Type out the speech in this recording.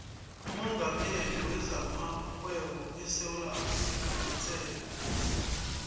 umongameli wezamarhwebo esewula afrika ngutsebe